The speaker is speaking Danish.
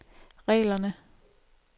reglerne